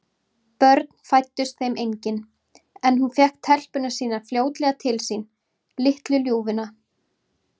Börn fæddust þeim engin, en hún fékk telpuna sína fljótlega til sín, litlu ljúfuna.